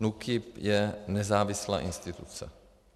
NÚKIB je nezávislá instituce.